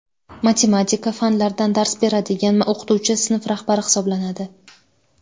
matematika) fanlardan dars beradigan o‘qituvchi sinf rahbari hisoblanadi.